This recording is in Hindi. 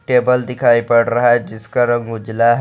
टेबल दिखाई पड़ रहा है जिसका रंग उजला है।